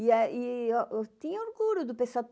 E aí eu tinha orgulho do pessoal